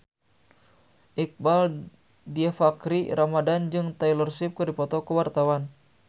Iqbaal Dhiafakhri Ramadhan jeung Taylor Swift keur dipoto ku wartawan